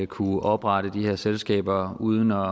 kunne oprette de her selskaber uden at